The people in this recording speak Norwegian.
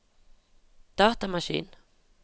datamaskin